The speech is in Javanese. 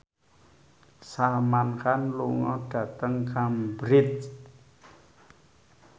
Salman Khan lunga dhateng Cambridge